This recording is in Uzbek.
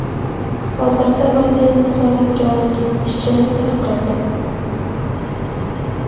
Hozirda vaziyat nazoratga olingan, ishchilar tarqalgan.